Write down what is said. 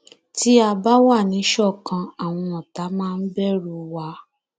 tí a bá wà níṣọkan àwọn ọtá máa bẹrù wa